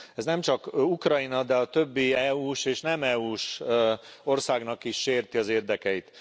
Ez nemcsak Ukrajna, de a többi EU s és nem EU s országnak is sérti az érdekeit.